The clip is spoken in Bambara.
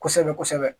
Kosɛbɛ kosɛbɛ